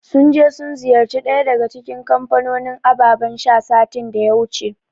Sun je sun ziyarci ɗaya daga cikin kamfanonin abababan sha, satin da ya wuce.